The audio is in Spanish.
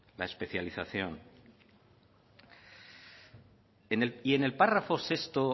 la especialización y en el párrafo sexto